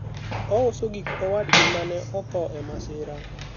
ouso gik owadgi mane odho e masira